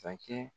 Sakɛ